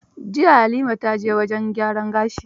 Jiya Halima ta je gyaran gashi.